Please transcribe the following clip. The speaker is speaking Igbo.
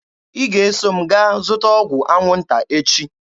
Ị ga-eso m gaa zụta ọgwụ anwụnta echi!